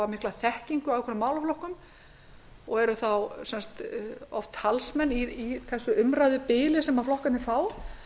mikla þekkingu á þeim og eru þá oft talsmenn í því umræðubili sem flokkarnir fá